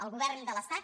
el govern de l’estat